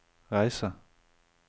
reise